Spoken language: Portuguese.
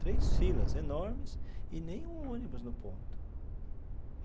Três filas enormes e nem um ônibus no ponto.